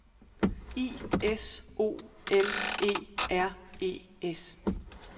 I S O L E R E S